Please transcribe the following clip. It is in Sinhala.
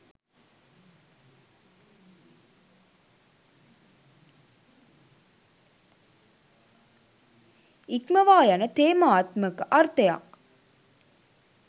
ඉක්මවා යන තේමාත්මක අර්ථයක්